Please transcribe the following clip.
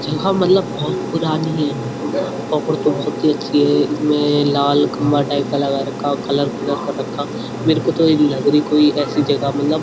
यहाँ मलब बहुत पुरानी है अच्छी है इसमें लाल खम्बा टाइप का लगा रहा है और कलर -कुलर कर रखा मेरे को तो यही लगरी कोई ऐसी जगह मलब --